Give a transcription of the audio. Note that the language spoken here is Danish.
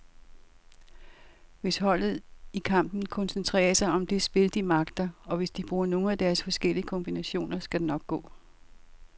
Hvis holdet i kampen koncentrerer sig om det spil, de magter, og hvis de bruger nogle af deres forskellige kombinationer, så skal det nok gå.